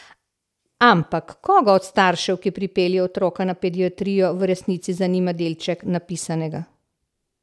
Ampak koga od staršev, ki pripelje otroka na pediatrijo, v resnici zanima delček napisanega?